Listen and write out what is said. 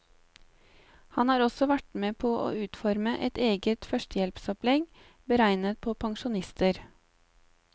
Han har også vært med på å utforme et eget førstehjelpsopplegg beregnet på pensjonister.